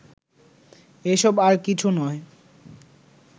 এসব আর কিছু নয়